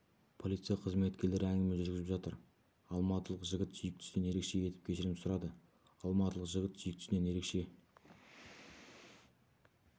полиция қызметкерлері әңгіме жүргізіп жатыр алматылық жігіт сүйіктісінен ерекше етіп кешірім сұрады алматылық жігіт сүйіктісінен ерекше